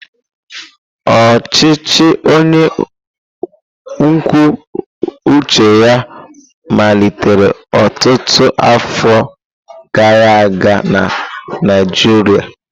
Ọchịchị onye kwuo uche ya malitere ọtụtụ afọ gara aga na Naịjirịa.